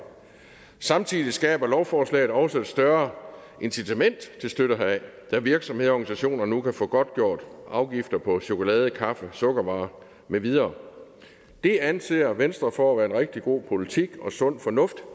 samtidig skaber lovforslaget også større incitament til støtte heraf da virksomheder og organisationer nu kan få godtgjort afgifter på chokolade kaffe sukkervarer med videre det anser venstre for at være en rigtig god politik og sund fornuft og